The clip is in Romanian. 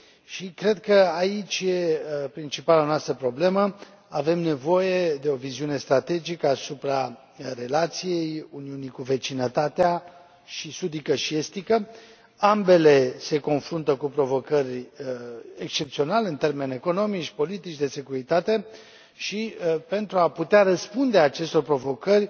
Și cred că aici e principala noastră problemă avem nevoie de o viziune strategică asupra relației Uniunii cu vecinătatea atât sudică, cât și estică. Ambele se confruntă cu provocări excepționale în termeni economici, politici, de securitate și, pentru a putea răspunde acestor provocări,